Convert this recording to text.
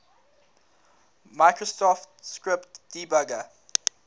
microsoft script debugger